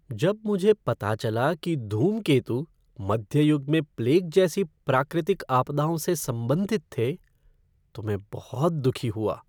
जब मुझे पता चला कि धूमकेतु मध्य युग में प्लेग जैसी प्राकृतिक आपदाओं से संबंधित थे तो मैं बहुत दुखी हुआ।